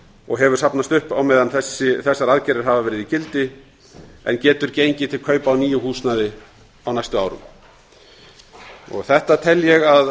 og hefur safnast upp á meðan þessar aðgerðir hafa verið í gildi en getur gengið til kaupa á nýju húsnæði á næstu árum þetta tel ég að